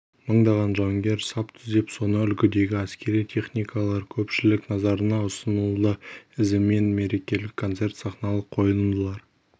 мыңдаған жауынгер сап түзеп соны үлгідегі әскери техникалар көпшілік назарына ұсынылды ізімен мерекелік концерт сахналық қойылымдар